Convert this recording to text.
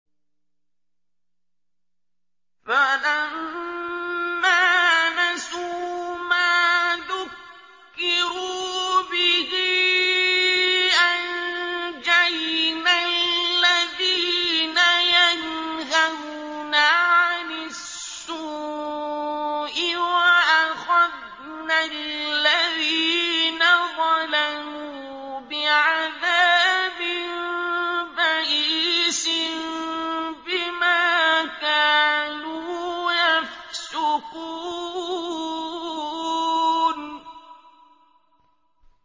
فَلَمَّا نَسُوا مَا ذُكِّرُوا بِهِ أَنجَيْنَا الَّذِينَ يَنْهَوْنَ عَنِ السُّوءِ وَأَخَذْنَا الَّذِينَ ظَلَمُوا بِعَذَابٍ بَئِيسٍ بِمَا كَانُوا يَفْسُقُونَ